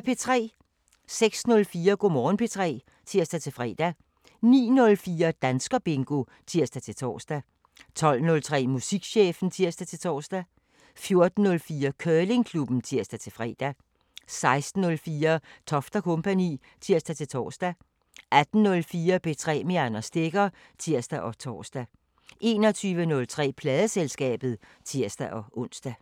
06:04: Go' Morgen P3 (tir-fre) 09:04: Danskerbingo (tir-tor) 12:03: Musikchefen (tir-tor) 14:04: Curlingklubben (tir-fre) 16:04: Toft & Co. (tir-tor) 18:04: P3 med Anders Stegger (tir og tor) 21:03: Pladeselskabet (tir-ons)